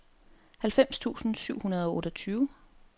halvfems tusind syv hundrede og otteogtyve